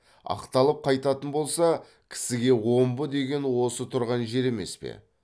ақталып қайтатын болса кісіге омбы деген осы тұрған жер емес пе